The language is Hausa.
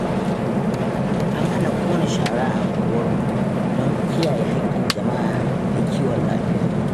An hana ƙona shara a unguwarmu don kiyaye haƙƙin jama'a da kiwon lafiya.